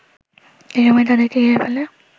এসময় তাদেরকে ঘিরে ফেলে